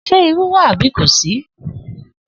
S̩e irú wà àbí kò sí?